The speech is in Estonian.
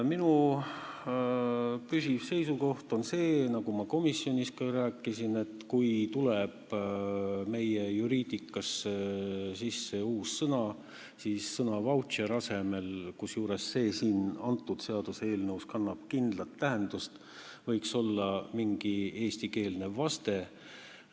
Minu püsiv seisukoht on see, nagu ma komisjonis ka rääkisin, et kui meie juriidikasse tuleb uus sõna, siis sõna "vautšer" asemel – kusjuures selles seaduseelnõus kannab see kindlat tähendust – võiks olla mingi eestikeelne vaste.